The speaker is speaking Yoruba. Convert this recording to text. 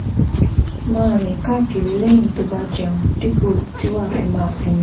Máa rìn káàkiri lẹ́yìn tó o bá jẹun dípò tí wàá fi máa sinmi